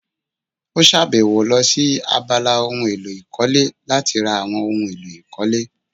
Ó sàbẹ̀wò lọ sí abala ohun èlò ìkọ́lé láti ra àwọn ohun èlò ìkọ́lé